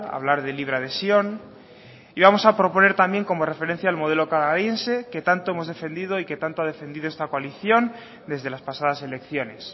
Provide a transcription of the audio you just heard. hablar de libre adhesión y vamos a proponer también como referencia el modelo canadiense que tanto hemos defendido y que tanto ha defendido esta coalición desde las pasadas elecciones